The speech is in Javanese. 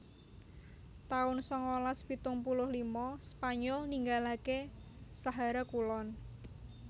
taun sangalas pitung puluh lima Spanyol ninggalaké Sahara Kulon